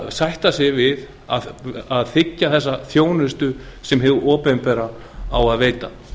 sætta sig við að þiggja þessa þjónustu sem hið opinbera á að veita